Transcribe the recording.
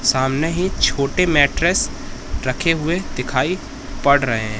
सामने ही छोटे मैट्ट्रेस रखे हुए दिखाई पड़ रहे हैं।